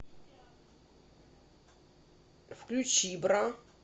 включи бра